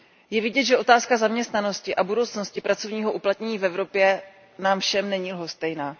Je vidět, že otázka zaměstnanosti a budoucnosti pracovního uplatnění v Evropě nám všem není lhostejná.